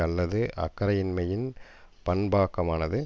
அல்லது அக்கறையின்மையின் பண்பாக்கமானது